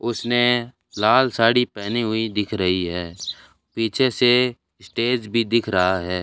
उसने लाल साड़ी पहनी हुई दिख रही है पीछे से स्टेज भी दिख रहा है।